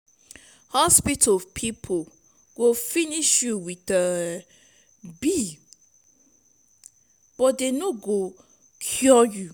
hospital people go finish you with um bill but dey no go cure you.